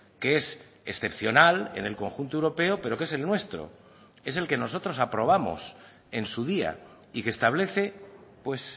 que es excepcional en el conjunto europeo pero que es el nuestro es el que nosotros aprobamos en su día y que establece pues